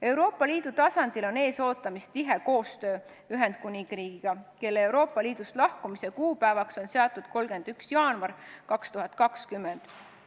Euroopa Liidu tasandil on ees ootamas tihe koostöö Ühendkuningriigiga, kelle Euroopa Liidust lahkumise kuupäevaks on seatud 31. jaanuar 2020.